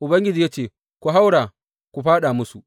Ubangiji ya ce, Ku haura ku fāɗa musu.